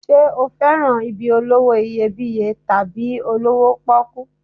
Ṣé o fẹ́ràn ibi olówó iyebíye tàbí olówó pọ́kú?